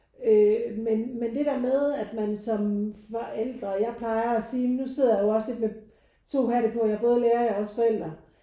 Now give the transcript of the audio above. Øh men men det der med at man som forældre jeg plejer at sige men nu sidder jeg jo også lidt med to hatte på jeg er både lærer jeg er også forældre